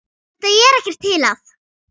Þetta er ekkert til að.